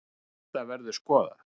En þetta verður skoðað.